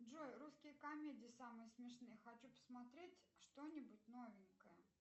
джой русские комедии самые смешные хочу посмотреть что нибудь новенькое